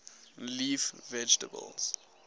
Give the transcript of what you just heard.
leaf vegetables